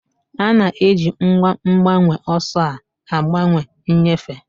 A na-eji ngwa mgbanweọsọ a gbanwee nnyefe.